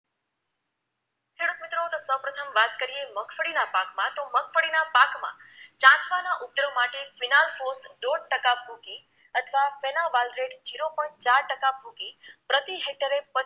ખેડૂતમિત્રો તો સૌ પ્રથમ વાત કરીએ મગફળીના પાકમાં તો મગફળીના પાક માં ચાસાના ઉપદ્રવ માટે વિનાલ ફોર્થ ડોઢ ટકા ભૂકી અથવા ફેના વાલથ્રેટ zero point ચાર ટકા ભૂકી પ્રતિહેક્ટરે